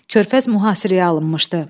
Körpəz mühasirəyə alınmışdı.